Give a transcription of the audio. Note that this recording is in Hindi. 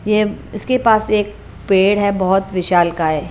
ये इसके पास एक पेड़ है बहुत विशाल का है।